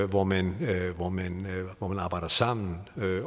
hvor man hvor man arbejder sammen